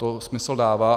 To smysl dává.